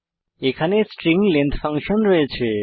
এখানে স্ট্রিং Lengthলেনথ ফাংশন রয়েছে